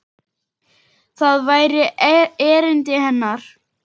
Það væri erindi hennar.